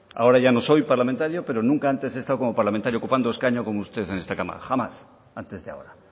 ahora ya no soy parlamentario pero nunca antes he estado como parlamentario ocupando escaño como usted en esta cámara jamás antes de ahora